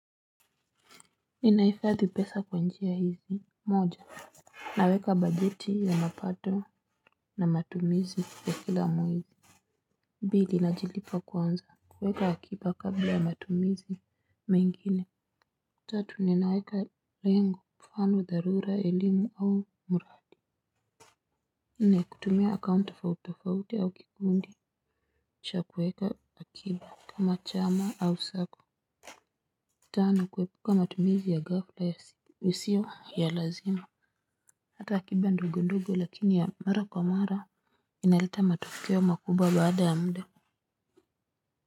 Ninahifadhi pesa kws njia hizi moja naweka bajeti ya mapato na matumizi ya kila mwezi pili najilipa kwanza kuweka akiba kabla ya matumizi mengine. Tatu ninaweka lengo. Mfano, dharura, elimu au mradi kutumia akaunti tofauti tofauti au kikundi kisha kuweka akiba kama chama au sacco. Tano kuepuka matumizi ya ghafla isiyo ya lazima hata akiba ndogo ndogo lakini ya mara kwa mara inaleta matokeo makubwa baada ya muda.